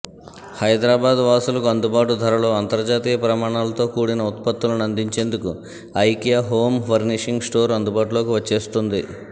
హైదరాబాద్ వాసులకు అందుబాటు ధరలో అంతర్జాతీయ ప్రమాణాలతో కూడిన ఉత్పత్తులను అందించేందుకు ఐకియూ హోమ్ ఫర్నీషింగ్ స్టోర్ అందుబాటులోకి వచ్చేస్తోంది